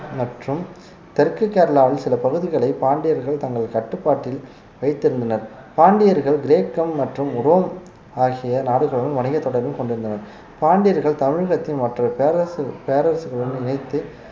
தெற்கு கேரளாவில் சில பகுதிகளை பாண்டியர்கள் தங்கள் கட்டுப்பாட்டில் வைத்திருந்தனர் பாண்டியர்கள் கிரேக்கம் மற்றும் உரோம் ஆகிய நாடுகளுடன் வணிகத் தொடர்பும் கொண்டிருந்தனர் பாண்டியர்கள் தமிழகத்தின் மற்ற பேரரசு பேரரசுகளுடன் இணைத்து